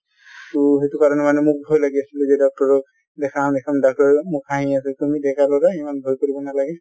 তো সেইটো কাৰণে মানে মোক ভয় লাগি আছিলে যে doctor ক দেখাম দেখাম, doctor ও মোক হাঁহি আছে তুমি ডেকা লʼৰা ইমান ভয় কৰিব নালাগে